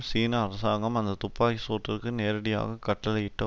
சீன அரசாங்கம் அந்த துப்பாக்கி சூட்டிற்கு நேரடியாக கட்டளையிட்ட